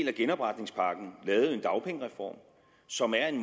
af genopretningspakken lavet en dagpengereform som er en